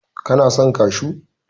kana son kashu!